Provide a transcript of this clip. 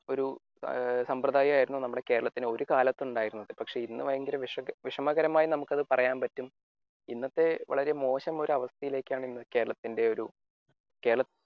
ഒരു സംഭൃദായമായിരുന്നു നമ്മുടെ കേരളത്തിന് ഒരു കാലത്തുണ്ടായിരുന്നത് പക്ഷെ ഇന്ന് ഭയങ്കര വിഷവിഷമകരമായി നമുക്ക് അത് പറയാൻ പറ്റും. ഇന്നത്തെ വളരെ മോശം ഒരു അവസ്ഥയിലേക്കാണ് കേരളത്തിന്റെ ഒരു